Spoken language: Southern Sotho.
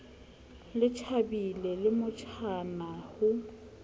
le tjhabile le monatjana ho